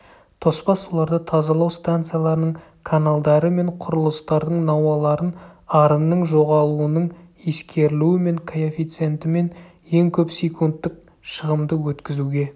тоспа суларды тазалау станцияларының каналдары мен құрылыстардың науаларын арынның жоғалуының ескерілуімен коэффициентімен ең көп секундтық шығымды өткізуге